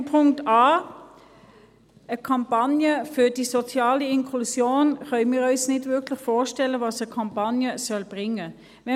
Zu Punkt a, einer Kampagne für die soziale Inklusion, können wir uns nicht wirklich vorstellen, was eine Kampagne bringen soll.